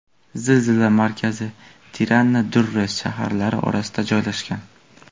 Zilzila markazi Tirana va Durres shaharlari o‘rtasida joylashgan.